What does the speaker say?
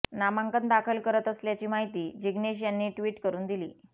नामांकन दाखल करत असल्याची माहिती जिग्नेश यांनी ट्वीट करून दिली